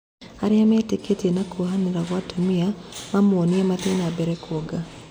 "Arĩa mateetĩkĩtie, "arĩa mateetĩkĩtie, na kuohanĩra gwa atumia, mamũonie, mathĩe na mbere kuonga.